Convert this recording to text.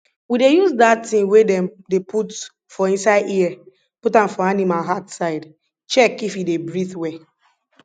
we dey use dat ting wey dem dey put for inside ear put am for animal heart side check if e dey breathe well